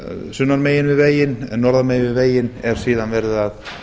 sunnan megin við veginn en norðan megin við veginn er síðan verið að